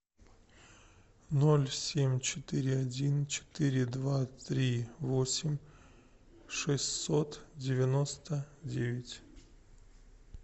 ноль семь четыре один четыре два три восемь шестьсот девяносто девять